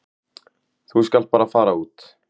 Þú skalt bara fara út.